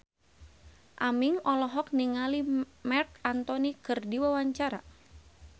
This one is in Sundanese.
Aming olohok ningali Marc Anthony keur diwawancara